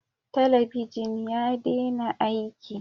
Talabijin ya dena aiki